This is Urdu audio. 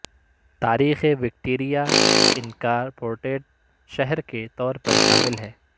تاریخ وکٹوریہ انکارپوریٹڈ شہر کے طور پر شامل ہے